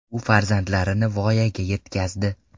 U farzandlarini voyaga yetkazdi.